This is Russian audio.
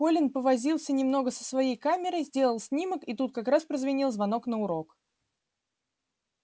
колин повозился немного со своей камерой сделал снимок и тут как раз прозвенел звонок на урок